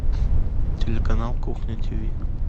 телеканал кухня тв